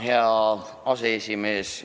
Hea aseesimees!